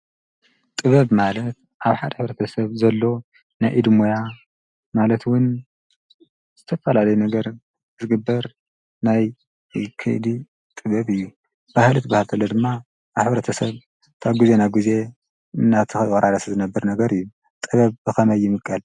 ጥበብ ማለት ኣብ ሓደ ሕብረተሰብ ዘሎ ናይ ኢድ ሞያ ማለት እውን ዝተፋላለይ ነገር ዝግበር ናይ ኢድ ከይድ ጥበብ እዩ። ባሕሊ ክባሃል እተሎ ድማ ኣብ ኅብረተሰብ ካብ ግዜ ናብ ጊዜ እናተወራረሰ ዝነብር ነገር እዩ። ጥበብ ብኸመይ ይምቀል?